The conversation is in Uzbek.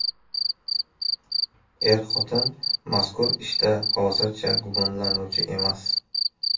Er-xotin mazkur ishda hozircha gumonlanuvchi emas.